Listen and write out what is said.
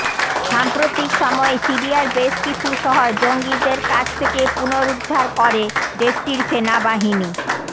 সাম্প্রতিক সময়ে সিরিয়ার বেশ কিছু শহর জঙ্গিদের কাছ থেকে পুনরুদ্ধার করে দেশটির সেনাবাহিনী